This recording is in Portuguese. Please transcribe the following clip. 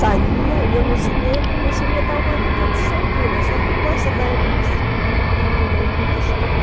Saía, e eu no cinema comecei a levar uma vida de solteira, só que com as rédeas, que a mamãe não deixava.